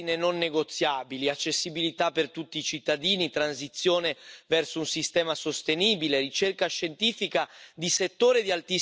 En dat kan bijdragen aan minder verkeersongevallen, betere verkeersdoorstroming en een lage CO2 uitstoot.